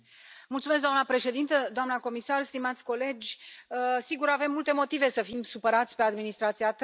Doamnă președintă, doamnă comisar, stimați colegi, sigur, avem multe motive să fim supărați pe administrația Trump.